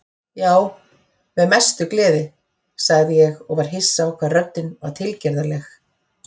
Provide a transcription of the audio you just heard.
Já, með mestu gleði, sagði ég og var hissa á hvað röddin var tilgerðarleg.